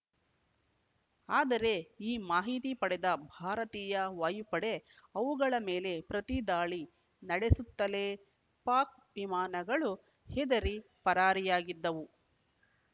ಆದರೆ ಈ ಮಾಹಿತಿ ಪಡೆದ ಭಾರತೀಯ ವಾಯುಪಡೆ ಅವುಗಳ ಮೇಲೆ ಪ್ರತಿದಾಳಿ ನಡೆಸುತ್ತಲೇ ಪಾಕ್‌ ವಿಮಾನಗಳು ಹೆದರಿ ಪರಾರಿಯಾಗಿದ್ದವು